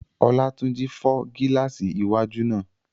Olátúnjí fọ́ gílààsì iwájú náà